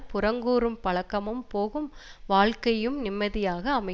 புறங்கூறும் பழக்கமும் போகும் வாழ்க்கையும் நிம்மதியாக அமை